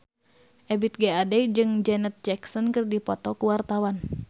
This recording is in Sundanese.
Ebith G. Ade jeung Janet Jackson keur dipoto ku wartawan